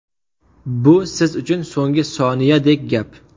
Bu siz uchun so‘nggi soniyadek gap.